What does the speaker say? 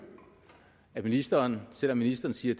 at ministeren selv om ministeren siger